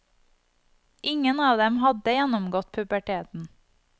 Ingen av dem hadde gjennomgått puberteten.